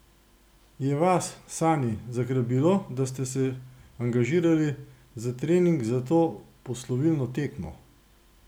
Je vas, Sani, zagrabilo, da ste se angažirali za trening za to poslovilno tekmo?